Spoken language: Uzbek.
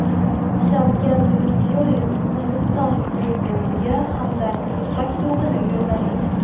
Shavkat Mirziyoyev Hindiston prezidentiga hamdardlik maktubini yo‘lladi.